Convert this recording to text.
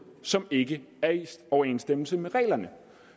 som ikke er i overensstemmelse med reglerne